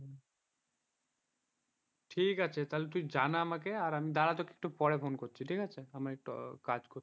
ঠিক আছে তাহলে তুই আমাকে জানা তাহলে আমি দাঁড়া তোকে একটু পরে phone করছি আমি একটু কাজ করছি।